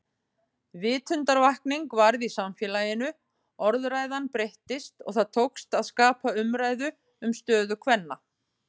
Vitundarvakning varð í samfélaginu, orðræðan breyttist og það tókst að skapa umræðu um stöðu kvenna.